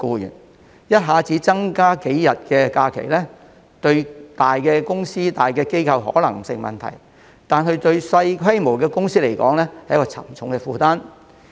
如果一下子增加數天假期，對於大公司、大機構而言可能不成問題，但對於規模較小的公司卻是沉重負擔。